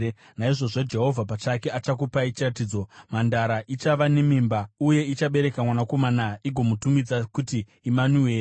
Naizvozvo Jehovha pachake achakupai chiratidzo: Mhandara ichava nemimba uye ichabereka mwanakomana igomutumidza kuti Imanueri.